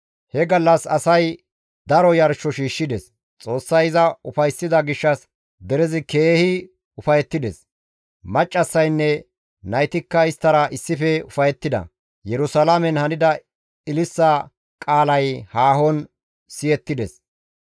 He gallas asay daro yarsho shiishshides; Xoossay iza ufayssida gishshas derezi keehi ufayettides; Maccassaynne naytikka isttara issife ufayettida; Yerusalaamen hanida ililisa qaalay haahon siyettides.